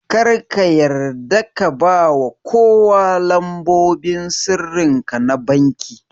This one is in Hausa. Kar ka yarda ka bawa kowa lambobin sirrinka na vanki